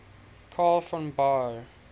karl von baer